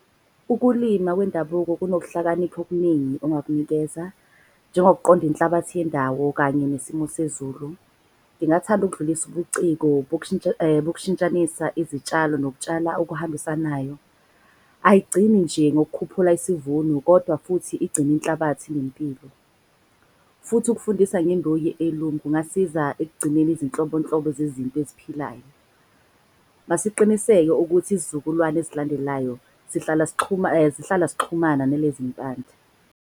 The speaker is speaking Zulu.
Ukulima kwendabuko kunohlakanipha okuningi ongakunikeza njengokuqonda inhlabathi yendawo kanye nesimo sezulu. Ngingathanda ukudlulisa ubuciko bokushintshanisa izitshalo nokutshala okuhambisanayo. Ayigcini nje ngokukhuphula isivuno kodwa futhi igcina inhlabathi inempilo. Futhi ukufundisa kungasiza ekugcineni izinhlobonhlobo zezinto eziphilayo. Masiqiniseke ukuthi izizukulwane ezilandelayo zihlala zixhumana nalezi mpande.